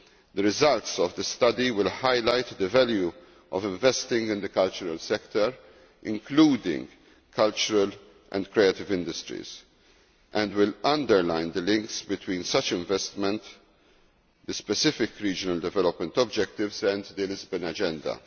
The results of the study will highlight the value of investing in the cultural sector, including cultural and creative industries, and will underline the links between such investment, the specific regional development objectives and the Lisbon Agenda.